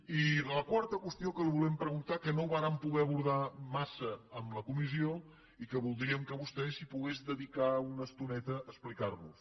i de la quarta qüestió que li volem preguntar que no vàrem poder abordar massa en la comissió i que voldríem que vostè s’hi pogués dedicar una estoneta a explicar nos ho